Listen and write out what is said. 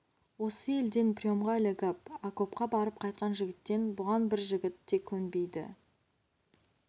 осы елден приемға ілігіп акопқа барып қайтқан жігіттен бұған бір жігіт те көнбейді